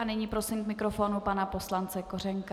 A nyní prosím k mikrofonu pana poslance Kořenka.